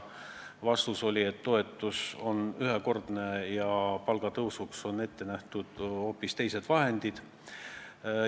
Vastus oli, et toetus on ühekordne ja palgatõusuks on ette nähtud hoopis teised vahendid.